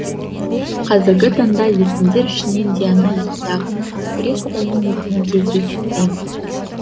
қазіргі таңда есімдер ішінен диана яғни грек құдайының есімін кездестіреміз